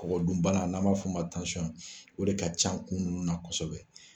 Kɔgɔ dun bana n'an m'a fɔ o ma ko o de ka can kun ninnu na kosɛbɛ.